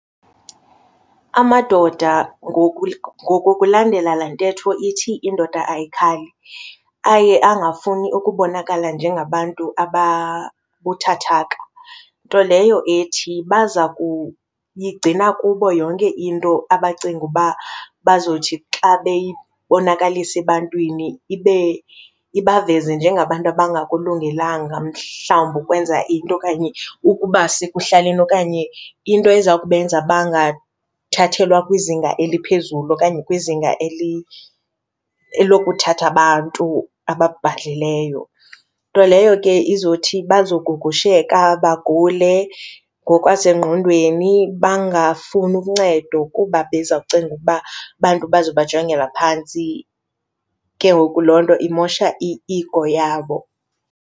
Amadoda ngoku ngokulandela la ntetho ithi, indoda ayikhali, aye angafuni ukubonakala njengabantu ababuthathaka. Nto leyo ethi baza kuyigcina kubo yonke into abacinga uba bazothi xa beyibonakalisa ebantwini ibe ibaveze njengabantu abangakulungelanga mhlawumbi ukwenza into okanye ukuba sekuhlaleni okanye into eza kubenza bangathathelwa kwizinga eliphezulu okanye kwizinga elokuthatha abantu ababhadlileyo. Nto leyo ke izothi bazogugusheka bagule ngokwasengqondweni bangafuni uncedo kuba bezawucinga ukuba abantu abazobajongela phantsi, ke ngoku loo nto imoshe i-ego yabo.